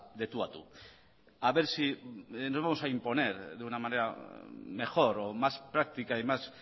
de tú a tú a ver si nos vamos a imponer de una manera mejor o más práctica y más